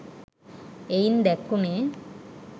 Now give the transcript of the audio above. එයින් දැක්වුනේ